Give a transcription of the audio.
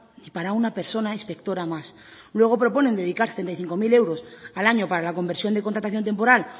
ni para una persona inspectora más luego proponen dedicar setenta y cinco mil euros al año para la conversión de contratación temporal